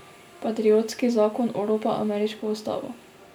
Patriotski zakon oropa ameriško ustavo.